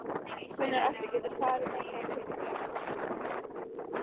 Gunnar Atli: Geturðu farið með það fyrir mig?